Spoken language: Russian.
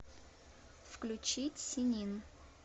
включи сенин